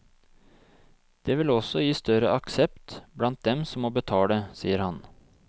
Det vil også gi større aksept blant dem som må betale, sier han.